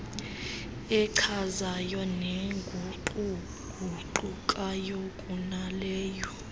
echazayo neguquguqukayo kunaleyo